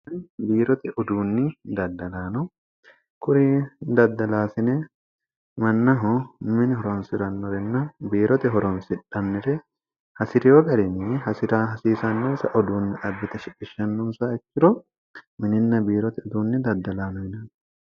biiroti uduunni daddalaano kuri daddalaasine mannahu mini horonsi'rannorinna biirote horomsidhanmire hasi'reyo garinyi hasi'ra hasiisannosa uduunni abbite shishsnonsikkiro mininna biirote uduunni daddalaanoyine